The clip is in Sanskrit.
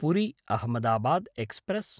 पुरी–अहमदाबाद् एक्स्प्रेस्